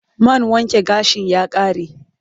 Man wanke gashin ya ƙare